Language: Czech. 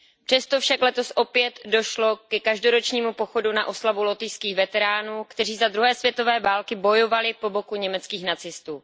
Přesto však letos opět došlo ke každoročnímu pochodu na oslavu lotyšských veteránů, kteří za druhé světové války bojovali po boku německých nacistů.